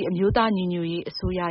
အမျိုးသားညီညွတ်ရေးအစိုးရ